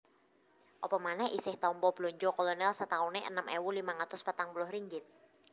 Apa manèh isih tampa blanja Kolonèl satauné enem ewu limang atus patang puluh ringgit